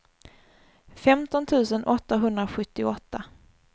femton tusen åttahundrasjuttioåtta